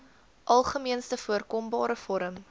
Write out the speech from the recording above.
algemeenste voorkombare vorm